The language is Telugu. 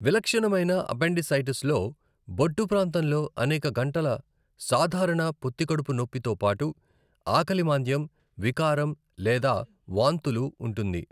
విలక్షణమైన అపెండిసైటిస్లో బొడ్డు ప్రాంతంలో అనేక గంటల సాధారణ పొత్తికడుపు నొప్పి తో పాటు ఆకలి మాంద్యం, వికారం లేదా వాంతులు ఉంటుంది.